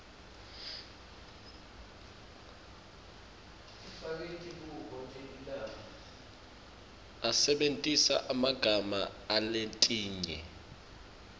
asebentisa emagama aletinye